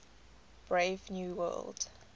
brave new world